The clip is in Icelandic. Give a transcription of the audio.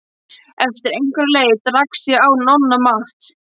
Eftir einhverja leit rakst ég á Nonna Matt.